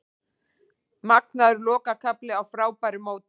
Magnaður lokakafli á frábæru móti